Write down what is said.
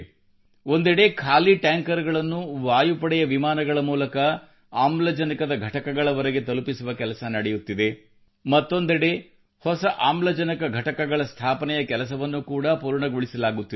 ಒಂದೆಡೆ ಖಾಲಿ ಟ್ಯಾಂಕರ್ ಗಳನ್ನು ವಾಯುಪಡೆಯ ವಿಮಾನಗಳ ಮೂಲಕ ಆಮ್ಲಜನಕದ ಘಟಕಗಳವರೆಗೆ ತಲುಪಿಸುವ ಕೆಲಸ ನಡೆಯುತ್ತಿದೆ ಮತ್ತೊಂದೆಡೆ ಹೊಸ ಆಮ್ಲಜನಕ ಘಟಕಗಳ ಸ್ಥಾಪನೆಯ ಕೆಲಸವನ್ನುಕೂಡಾ ಪೂರ್ಣಗೊಳಿಸಲಾಗುತ್ತಿದೆ